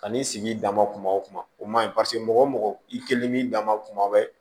Kan'i sigi i dama kuma o kuma o man ɲi paseke mɔgɔ i kelen b'i dama tuma bɛɛ